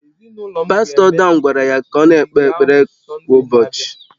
Pastọ Dan gwara ya ka ọ na-ekpe ekpere kwa ụbọchị